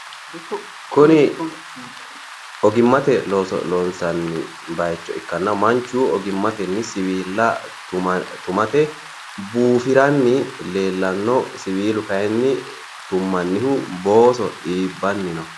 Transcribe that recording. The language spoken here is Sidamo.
kuni ogimmate looso loonsanni bayiicho ikkanna manchu ogimmatenni siwiilla tumate buufiranni leellanno siwiilu kayi tummannihu booso iibbanni no.